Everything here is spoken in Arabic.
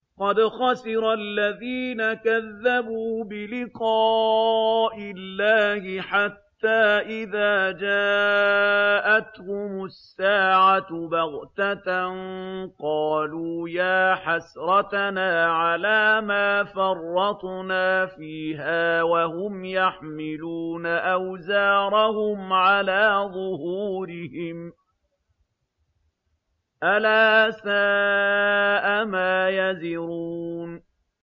قَدْ خَسِرَ الَّذِينَ كَذَّبُوا بِلِقَاءِ اللَّهِ ۖ حَتَّىٰ إِذَا جَاءَتْهُمُ السَّاعَةُ بَغْتَةً قَالُوا يَا حَسْرَتَنَا عَلَىٰ مَا فَرَّطْنَا فِيهَا وَهُمْ يَحْمِلُونَ أَوْزَارَهُمْ عَلَىٰ ظُهُورِهِمْ ۚ أَلَا سَاءَ مَا يَزِرُونَ